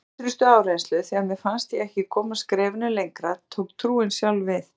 Við ýtrustu áreynslu, þegar mér fannst ég ekki komast skrefinu lengra, tók trúin sjálf við.